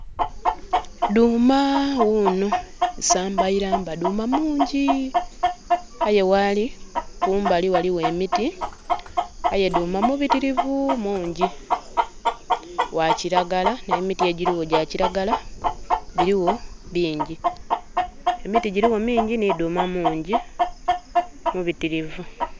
Dhuuma wuno, isamba iramba. Dhuuma mungi. Aye waali, kumbali waliwo emiti. Aye dhuuma mubitirivu mungi. Wakiragala, nemiti egiriwo gya kiragala. Biriwo bingi, emiti giriwo mingi, ni dhuuma mungi. Mubitirivu.